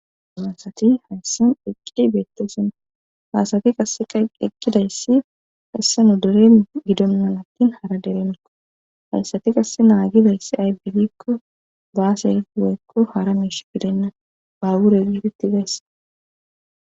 Anasati hayssan eqqi beettosana baasati qaeeqqidayssi hayssa nu doren gidonnan akkin hara deremikko hayssati qasse naagidayssi aybidikko baasai woykko hara miish bidenna ba wure gifeti gaysse